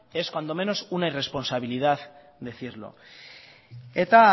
es cuanto menos una irresponsabilidad decirlo eta